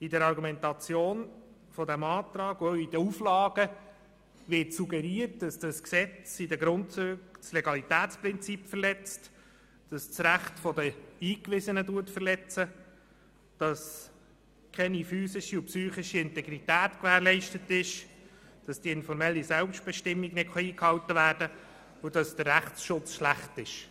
In der Argumentation dieses Antrags und den Auflagen wird suggeriert, dass das Gesetz in seinen Grundzügen das Legalitätsprinzip verletzt, dass das Recht der Eingewiesenen verletzt wird, dass keine physischen und psychische Integrität gewährleistet ist, dass die informelle Selbstbestimmung nicht eingehalten werden kann und dass der Rechtsschutz schlecht ist.